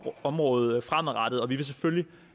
område fremadrettet og vi vil selvfølgelig